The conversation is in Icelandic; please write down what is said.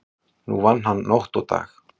Nú vann hann nótt og dag.